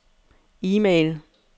e-mail